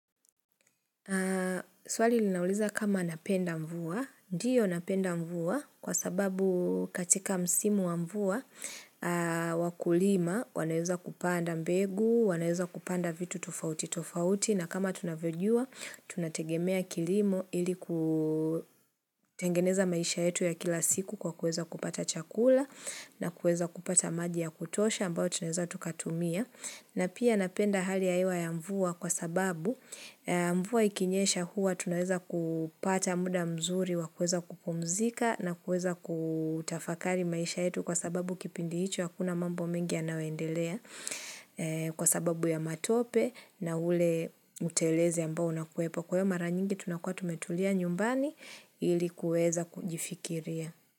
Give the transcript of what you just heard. Swali linauliza kama napenda mvua. Ndiyo napenda mvua kwa sababu katika msimu wa mvua wa kulima. Wanaeza kupanda mbegu, wanaeza kupanda vitu tofauti tofauti. Na kama tunavyojua, tunategemea kilimo ili kutengeneza maisha yetu ya kila siku kwa kueza kupata chakula na kueza kupata maji ya kutosha ambao tunaeza tukatumia. Na pia napenda hali ya hewa ya mvua kwa sababu mvua ikinyesha huwa tunaeza kupata muda mzuri wa kueza kupumzika na kueza kutafakari maisha yetu kwa sababu kipindi hicho hakuna mambo mengi yanayoendelea kwa sababu ya matope na ule utelezi ambao unakuwepo. Kwa hio mara nyingi tunakuwa tumetulia nyumbani ilikuweza kujifikiria.